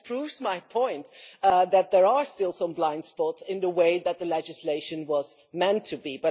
That just proves my point that there are still some blind spots in the way that the legislation was meant to be.